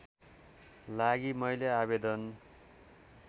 लागि मैले आवेदन